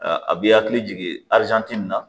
A b'i hakili jigin min na